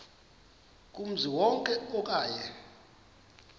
kumzi wonke okanye